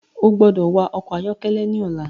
O gbọdọ wa ọkọ ayọkẹlẹ ní ọla!